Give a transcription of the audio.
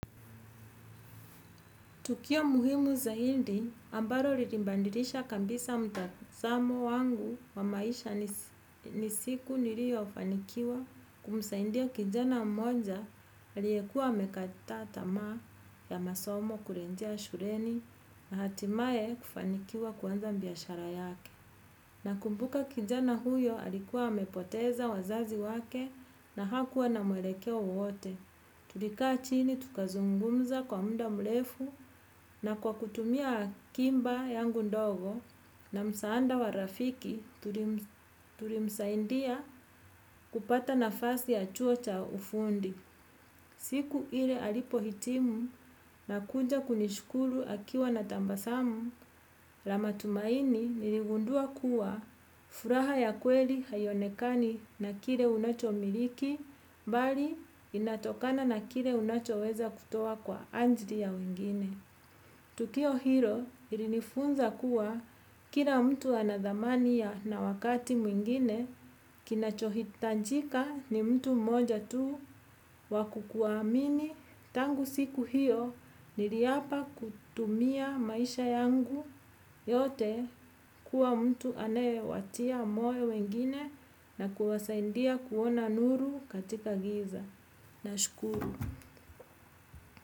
Tukio muhimu zahindi ambaro rilimbandirisha kambisa mtazamo wangu wa maisha ni siku nirio fanikiwa kumsaindia kijana mmoja aliekua amekata tamaa ya masomo kurenjea shureni na hatimaye kufanikiwa kuanza mbiashara yake. Nakumbuka kijana huyo alikuwa amepoteza wazazi wake na hakuwa na maelekeo wowote. Tulikaa chini tukazungumza kwa mda mlefu na kwa kutumia kimba yangu ndogo na msaanda wa rafiki tulimsaindia kupata nafasi ya chuo cha ufundi. Siku ile alipohitimu na kunja kunishukuru akiwa na tambasamu, la matumaini niligundua kuwa furaha ya kweli haionekani na kire unachomiliki, bali inatokana na kire unachoweza kutoa kwa anjili ya wengine. Tukio hilo ilinifunza kuwa kira mtu ana dhamani na wakati mwingine, kinachohitanjika ni mtu mmoja tu wa kukuamini tangu siku hiyo niriapa kutumia maisha yangu yote kuwa mtu anayewatia moyo wengine na kuwasaindia kuona nuru katika giza. Nashukuru.